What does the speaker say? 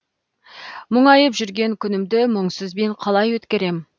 мұңайып жүрген күнімді мұңсызбен қалай өткерем